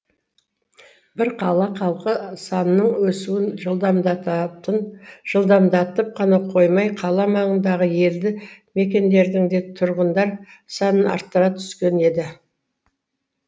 бұл қала халқы санының өсуін жылдамдатып қана қоймай қала маңындағы елді мекендердің де тұрғындар санын арттыра түскен еді